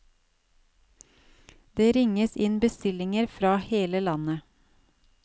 Det ringes inn bestillinger fra hele landet.